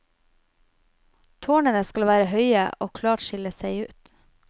Tårnene skal være høye og klart skille seg ut.